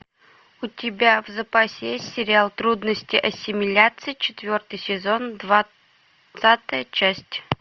у тебя в запасе есть сериал трудности ассимиляции четвертый сезон двадцатая часть